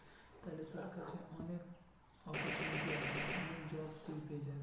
তাহলে তোর কাছে অনেক opportunity আছে অনেক job তুই পেয়ে যাবি।